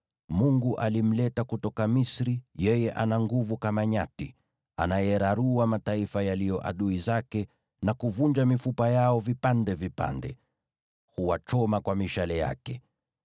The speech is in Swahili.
“Mungu alimleta kutoka Misri; yeye ana nguvu kama nyati. Anayararua mataifa yaliyo adui zake, na kuvunja mifupa yao vipande vipande; huwachoma kwa mishale yake.